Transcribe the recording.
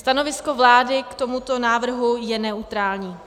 Stanovisko vlády k tomuto návrhu je neutrální.